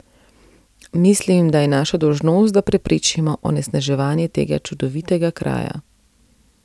Mislim, da je naša dolžnost, da preprečimo onesnaževanje tega čudovitega kraja.